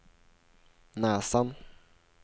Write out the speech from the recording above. näsan